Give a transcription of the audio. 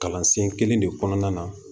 Kalansen kelen de kɔnɔna na